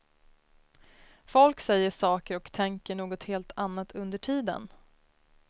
Folk säger saker och tänker något helt annat under tiden.